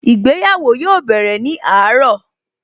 Ìgbéyàwó yóò bẹ̀rẹ̀ ní àárọ̀